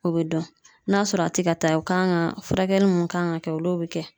O be dɔn n'a sɔrɔ a te ka taa o kan ka furakɛli mun kan ka kɛ olu be kɛ